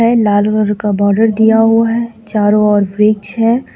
लाल रंग का बॉर्डर दिया हुआ है चारों ओर वृक्ष है.